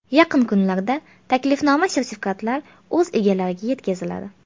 Yaqin kunlarda taklifnoma-sertifikatlar o‘z egalariga yetkaziladi.